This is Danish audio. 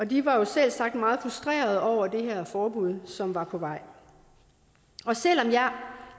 de var selvsagt meget frustrerede over det her forbud som var på vej selv om jeg